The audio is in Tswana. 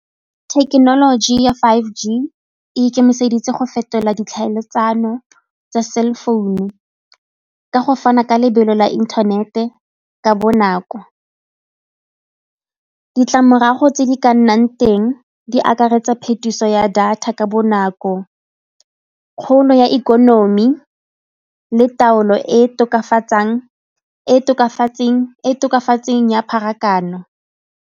Thekenoloji ya five G e ikemiseditse go fetola ditlhaeletsano tsa cell founu ka go fana ka lebelo la inthanete ka bonako. Ditlamorago tse di ka nnang teng di akaretsa phetiso ya data ka bonako, kgolo ya ikonomi le taolo e e tokafatseng ya pharakano.